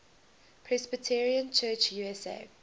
presbyterian church usa